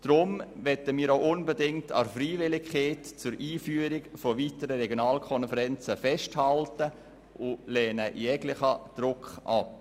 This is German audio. Deshalb möchten wir auch unbedingt an der Freiwilligkeit, weitere Regionalkonferenzen einzuführen, festhalten und lehnen jeglichen Druck ab.